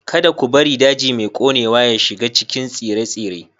Kada ku bari daji mai ƙonewa ya shiga cikin tsire-tsire.